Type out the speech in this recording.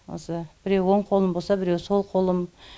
осы біреуі оң қолым болса біреуі сол қолым